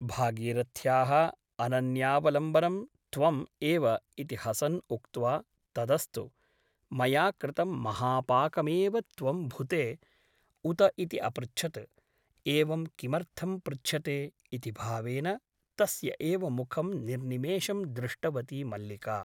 भागीरथ्याः अनन्यावलम्बनं त्वम् एव इति हसन् उक्त्वा तदस्तु , मया कृतं महापाकमेव त्वं भुते , उत इति अपृच्छत् । एवं किमर्थं पृच्छते ? इति भावेन तस्य एव मुखं निर्निमेषं दृष्टवती मल्लिका ।